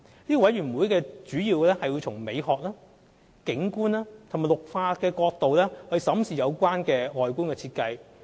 該委員會主要是從美學、景觀及綠化角度審視有關的外觀設計。